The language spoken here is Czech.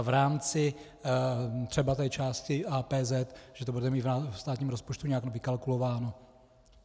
A v rámci třeba té části APZ že to budete mít ve státním rozpočtu nějak vykalkulováno.